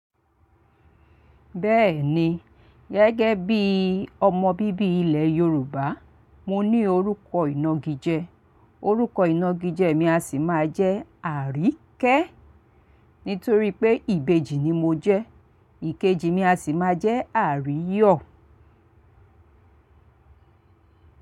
Bẹ́ẹ̀ni, gẹ́gẹ́ bí ọmọ bíbí ilẹ̀ Yorùbá, mo ní orúkọ ìnagijẹ. Orúkọ ìnagijẹ mi a sì máa jẹ́ Aríkẹ́ nítorí pé Ìbejì ni mo jẹ́. Ìkejì mi a sì máa jẹ́ Aríyọ̀.